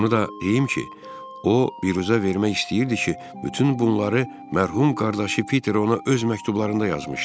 Onu da deyim ki, o, büruzə vermək istəyirdi ki, bütün bunları mərhum qardaşı Piter ona öz məktublarında yazmışdı.